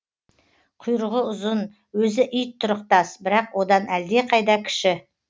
құйрығы ұзын өзі ит тұрықтас бірақ одан әлдеқайда кіші